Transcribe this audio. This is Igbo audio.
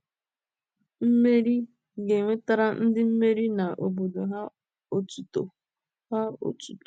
Mmeri ga-ewetara ndị mmeri na obodo ha otuto. ha otuto.